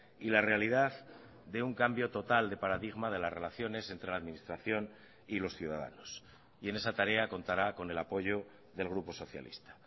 y la realidad de un cambio total de paradigma de las relaciones entre la administración y los ciudadanos y en esa tarea contará con el apoyo del grupo socialista